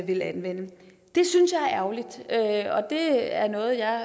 vil anvende det synes jeg er ærgerligt og det er noget jeg